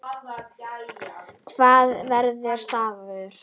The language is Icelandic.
Það var staður.